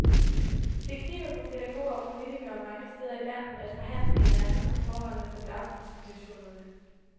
Det kniber for pædagoger og politikere mange steder i landet at forhandle med hinanden om forholdene på daginstitutionerne.